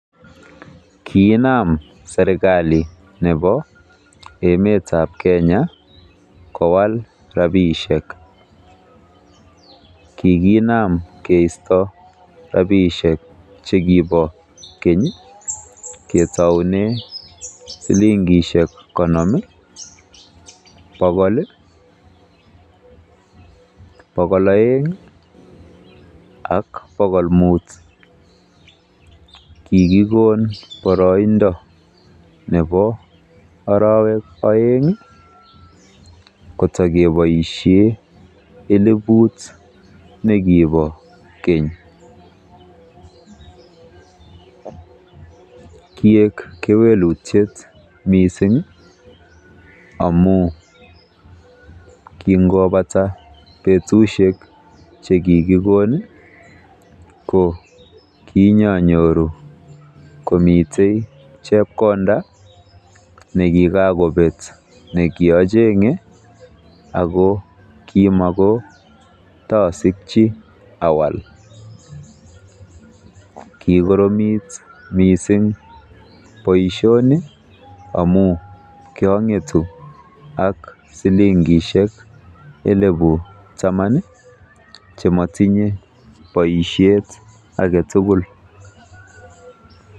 Kiinam serkalit nebo emet ab Kenya kowal rabishek kiginam keeisto rabishek che kibo keny ketoune silingishek konom, bogol, bogol oeng, ak bogol muut, kigikon boroindo nebo orowek oeng, kotokeboisie elibut ne kibo keny. Kiik kewelutie mising amun kingobata betushek che kigikon ko kianyanyoru komiten chepkonda ne kigakobet ne kiacheng'e ago kimakotosikchi awal kikoromit mising boisioni amun kiang'etu ak silingishek elibu taman che motinye boisiet age tugul.